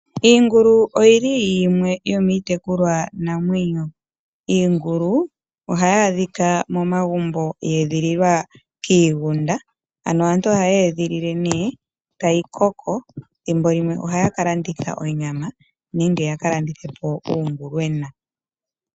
Iingulu oyili yimwe yomiitekulwa namwenyo. Iingulu ohayi adhika momagumbo ya edhililwa kiigunda. Aantu ohayeyi edhilile, etayi koko thimbo limwe ohaya kalanditha onyama nenge yaka landithe po uungulwenwa.